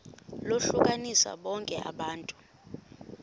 lohlukanise bonke abantu